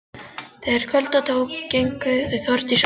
Þegar kvölda tók gengu þau Þórdís úr stofu.